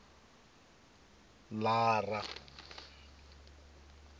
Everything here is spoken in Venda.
lara